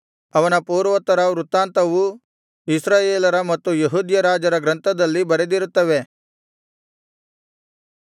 ಅವನ ಪೂರ್ವೋತ್ತರ ವೃತ್ತಾಂತವೂ ಇಸ್ರಾಯೇಲರ ಮತ್ತು ಯೆಹೂದ್ಯ ರಾಜರ ಗ್ರಂಥದಲ್ಲಿ ಬರೆದಿರುತ್ತವೆ